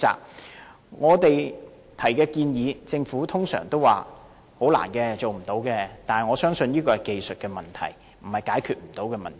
對於我們提出的建議，政府通常都回應說很困難和無法做到，但我相信這是技術問題，不是無法解決的問題。